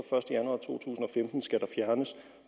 den skal der fjernes